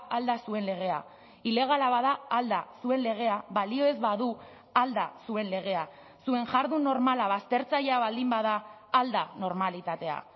al da zuen legea ilegala bada al da zuen legea balio ez badu al da zuen legea zuen jardun normala baztertzailea baldin bada al da normalitatea